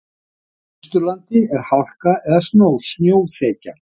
Á Austurlandi er hálka eða snjóþekja